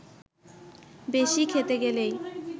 বেশি খেতে গেলেই